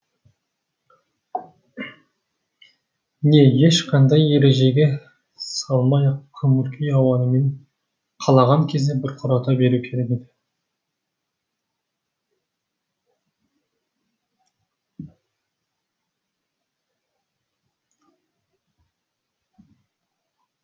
не ешқандай ережеге салмай ақ көңіл күй ауанымен қалаған кезінде бұрқырата беру керек еді